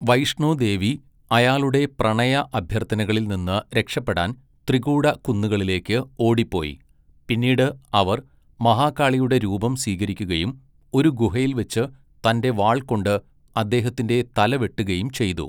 വൈഷ്ണോ ദേവി അയാളുടെ പ്രണയ അഭ്യർഥനകളിൽ നിന്ന് രക്ഷപ്പെടാൻ ത്രികൂട കുന്നുകളിലേക്ക് ഓടിപ്പോയി, പിന്നീട് അവർ മഹാകാളിയുടെ രൂപം സ്വീകരിക്കുകയും ഒരു ഗുഹയിൽ വച്ച് തന്റെ വാൾ കൊണ്ട് അദ്ദേഹത്തിന്റെ തല വെട്ടുകയും ചെയ്തു.